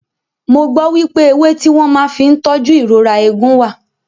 Mo gbọ́ wípé ewé tí wọ́n màá fí ń tóju ìrora eegun wà.